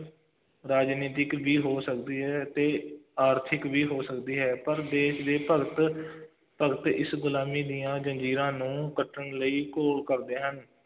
ਰਾਜਨੀਤਿਕ ਵੀ ਹੋ ਸਕਦੀ ਹੈ ਅਤੇ ਆਰਥਿਕ ਵੀ ਹੋ ਸਕਦੀ ਹੈ, ਪਰ ਦੇਸ਼ ਦੇ ਭਗਤ ਭਗਤ ਇਸ ਗੁਲਾਮੀ ਦੀਆਂ ਜ਼ੰਜ਼ੀਰਾਂ ਨੂੰ ਕੱਟਣ ਲਈ ਘੋਲ ਕਰਦੇ ਹਨ,